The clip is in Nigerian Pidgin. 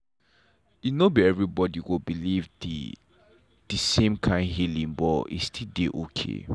e no be everybody go believe the the same kind healing but e still dey okay.